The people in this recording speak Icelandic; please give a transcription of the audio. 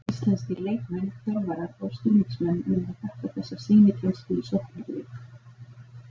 Íslenskir leikmenn, þjálfarar og stuðningsmenn mega þakka þessa sýnikennslu í sóknarleik.